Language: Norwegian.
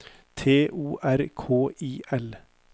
T O R K I L